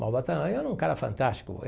Malba Tahan era um cara fantástico.